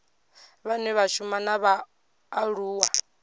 vhane vha shuma na vhaaluwa